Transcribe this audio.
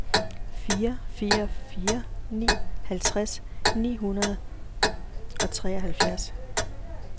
fire fire fire ni halvtreds ni hundrede og treoghalvfjerds